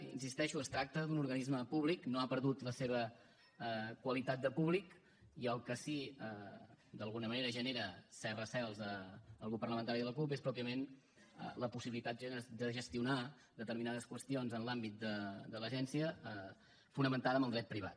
hi insisteixo es tracta d’un organisme públic no ha perdut la seva qualitat de públic i el que sí que d’alguna manera genera certs recels al grup parlamentari de la cup és pròpiament la possibilitat de gestionar determinades qüestions en l’àmbit de l’agència fonamentada en el dret privat